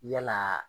Yalaa